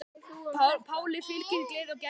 Páli fylgir gleði og gæska.